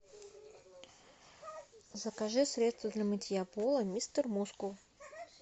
закажи средство для мытья пола мистер мускул